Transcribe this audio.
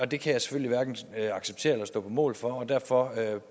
det kan jeg selvfølgelig hverken acceptere eller stå på mål for og derfor